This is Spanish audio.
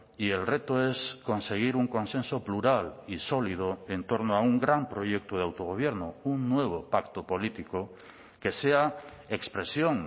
y el reto es conseguir un consenso plural y sólido entorno a un gran proyecto de autogobierno un nuevo pacto político que sea expresión